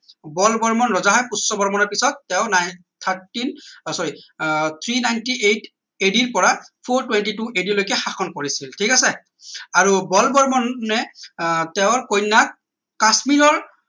বল বৰ্মন ৰজা হয় পুষ্য বৰ্মনৰ পিছত তেওঁ ছয়সত্তৰ thirteen আহ sorry ৰ পৰা three ninety eight ad ৰ পৰা four twenty two ad লৈকে শাসন কৰিছিল ঠিক আছে আৰু বল বৰ্মনে আহ তেওঁৰ কন্যাক কাশ্মীৰৰ